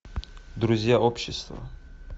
друзья общества